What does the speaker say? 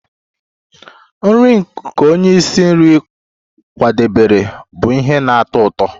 Nri nke onye isi nri kwadebere bụ ihe na-atọ ụtọ